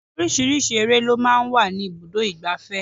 Oríṣiríṣi eré lọ máa ń wà ní ibùdó igbàfẹ́.